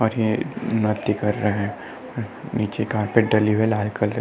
और यहाँ कर रहे हैं। नीचे कार्पेट डली है लाल कलर --